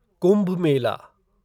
Kumbh Mela